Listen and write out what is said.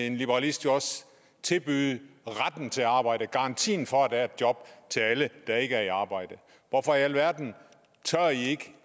en liberalist jo også tilbyde retten til arbejde garantien for at der er et job til alle der ikke er i arbejde hvorfor i alverden tør i ikke